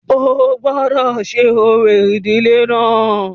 O gbọ́dọ̀ ṣe orò ìdílé náà.